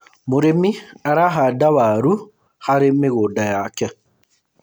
mũrĩmi arahanda waru harĩ mĩgũnda yake